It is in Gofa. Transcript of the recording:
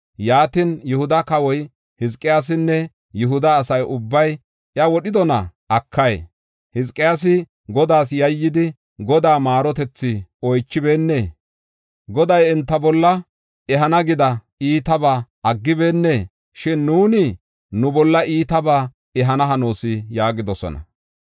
Yaatin, “Yihuda kawoy Hizqiyaasinne Yihuda asa ubbay iya wodhidona? Akay, Hizqiyaasi Godaas yayyidi, Godaa maarotethi oychibeennee? Godaay enta bolla ehana gida iitabaa aggibeenee? Shin nuuni nu bolla iitabaa ehana hanoos” yaagidosona.